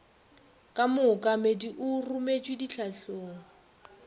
ka mookamedi o rometšwe ditlhahlong